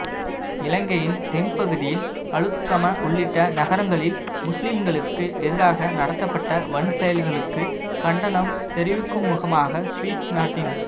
இலங்கையின் தென்பகுதியில் அளுத்கம உள்ளிட்ட நகரங்களில் முஸ்லிம்களுக்கு எதிராக நடத்தப்பட்ட வன்செயல்களுக்கு கண்டனம் தெரிவிக்குமுகமாக சுவிஸ் நாட்டின்